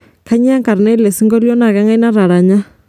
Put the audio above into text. kanyoo enkarna elesingolio na kangai nataranya